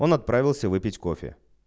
он отправился выпить кофе